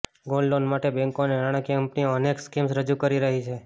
gold loan માટે બેંકો અને નાણાકીય કંપનીઓ અનેક સ્કીમ્સ રજૂ કરી રહી છે